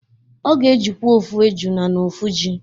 Ọ ga-ejikwa ofu ejina na ofu ji